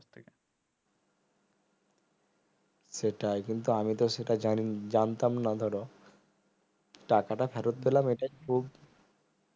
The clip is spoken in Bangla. সেটাই কিন্তু আমিতো সেটা জানি জানতাম না ধরো টাকাটা ফেরত পেলাম এইটাই খুব